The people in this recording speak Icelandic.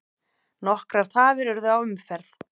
Nokkrar tafir urðu á umferð.